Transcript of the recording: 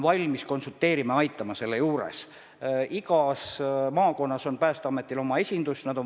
Sellel on mõju tervisele, majandusele, kogu elu korrapärasele ja rahumeelsele toimimisele.